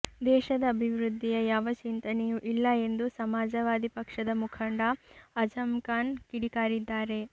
ದೇಶದ ಅಭಿವೃದ್ಧಿಯ ಯಾವ ಚಿಂತನೆಯೂ ಇಲ್ಲ ಎಂದು ಸಮಾಜವಾದಿ ಪಕ್ಷದ ಮುಖಂಡ ಅಜಮ್ಖಾನ್ ಕಿಡಿಕಾರಿದ್ದಾರೆ